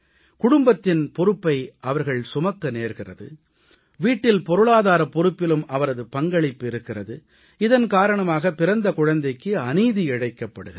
குடும்பத்தின் பொறுப்பை அவரே சுமக்கிறார் வீட்டில் பொருளாதாரப் பொறுப்பிலும் அவரது பங்களிப்பு இருக்கிறது இதன் காரணமாக பிறந்த குழந்தைக்கு அநீதி இழைக்கப்படுகிறது